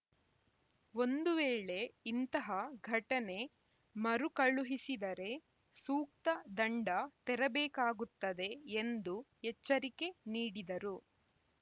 ಒಂದು ವೇಳೆ ಇಂತಹ ಘಟನೆ ಮರು ಕಳುಹಿಸಿದರೆ ಸೂಕ್ತ ದಂಡ ತೆರಬೇಕಾಗುತ್ತದೆ ಎಂದು ಎಚ್ಚರಿಕೆ ನೀಡಿದರು